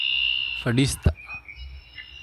Fadhiista.